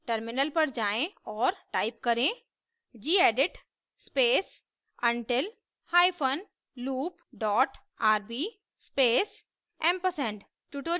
terminal पर जाएँ और टाइप करें gedit space until hyphen loop dot rb space & ampersand